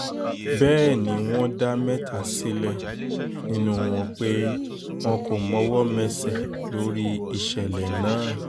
bẹ́ẹ̀ ni wọ́n dá mẹ́ta sílẹ̀ nínú wọn pé wọn kò mọwọ́ mẹsẹ̀ lórí ìṣẹ̀lẹ̀ ìṣẹ̀lẹ̀ náà